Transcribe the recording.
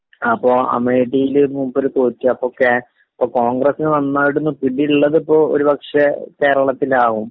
അപ്പൊ അമേഠിയിൽ മൂപ്പര് തോറ്റ്...അപ്പൊ കോൺഗ്രസിന് നന്നായിട്ടൊരു പിടിയുള്ളത് ഒരുപക്ഷേ കേരളത്തിലാവും.